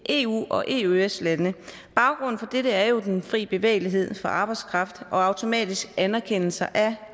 eu og eøs lande baggrunden for dette er jo den fri bevægelighed for arbejdskraft og automatiske anerkendelser af